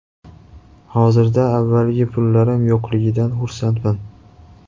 Hozirda avvalgi pullarim yo‘qligidan xursandman.